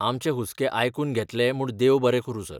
आमचे हुस्के आयकून घेतले म्हूण देव बरें करूं सर.